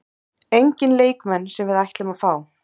Enginn leikmenn sem við ætlum að fá?